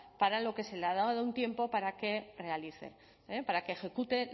para lo que se le ha dado un tiempo para que realice para que ejecute